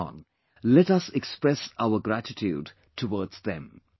Come on, let us express our gratitude towards them